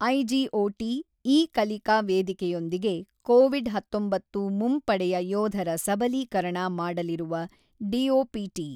iGOT ಇ-ಕಲಿಕಾ ವೇದಿಕೆಯೊಂದಿಗೆ Covid ಹತೊಂಬತ್ತು ಮುಂಪಡೆಯ ಯೋಧರ ಸಬಲೀಕರಣ ಮಾಡಲಿರುವ ಡಿಓಪಿಟಿ